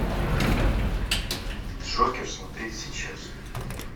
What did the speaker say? джокер смотреть сейчас